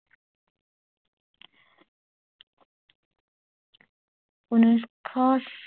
ঊনৈশ চ